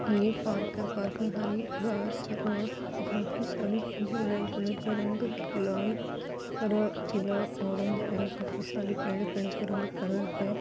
ई park है park में हरी घास है और काफी सारे झूले झूले का रंग लाल हरा पीला ऑरेंज है काफी सारे पड़े पेड़ का रंग हरा है।